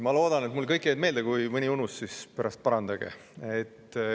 Ma loodan, et mulle jäid kõik meelde, kui mõni unus, siis pärast parandage.